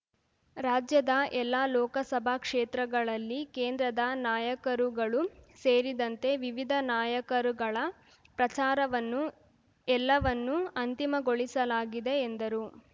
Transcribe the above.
ರಾಜ್ಯದ ಎಲ್ಲ ಲೋಕಸಭಾ ಕ್ಷೇತ್ರಗಳಲ್ಲಿ ಕೇಂದ್ರದ ನಾಯಕರುಗಳು ಸೇರಿದಂತೆ ವಿವಿಧ ನಾಯಕರುಗಳ ಪ್ರಚಾರವನ್ನು ಎಲ್ಲವನ್ನು ಅಂತಿಮಗೊಳಿಸಲಾಗಿದೆ ಎಂದರು